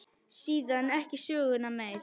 Síðan ekki söguna meir.